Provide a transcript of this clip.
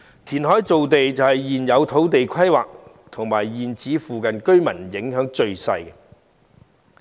填海造地對現有土地規劃及現址附近居民影響最小。